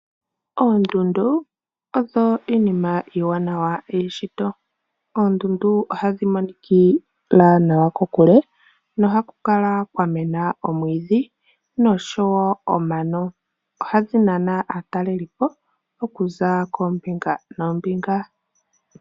Oondundu odho iinima iiwanawa yeshito. Oondundu ohadhi monikila nawa kokule nohaku kala kwa mena omwiidhi noshowo omano. Ohadhi nana aatalelipo okuza koombinga noombinga.